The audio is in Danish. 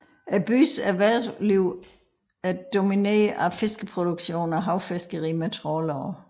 Byens erhvervsliv er domineret af fiskeproduktion og havfiskeri med trawlere